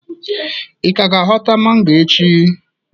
ị ka ga ịhota mango echi?